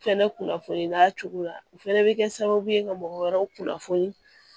Fɛnɛ kunnafoni n'a cogo lɛ bɛ kɛ sababu ye ka mɔgɔ wɛrɛw kunnafoni